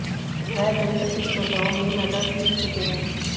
वह कई प्रतिस्पर्धाओं में मेडल्स जीत चुके हैं